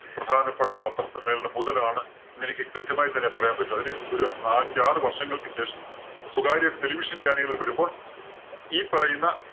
പ്രധാനപ്പെട്ട പത്രസമ്മേളനം മുതലാണ്‌ എന്നെനിക്ക് കൃത്യമായി തന്നെ പറയാന്‍ പറ്റും. അതിന് ഒരു ആഞ്ചാറ് വര്‍ഷങ്ങള്‍ക്കു ശേഷം സ്വകാര്യ television channel കൾ വരുമ്പോള്‍ ഈ പറയുന്ന